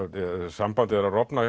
sambandið er að rofna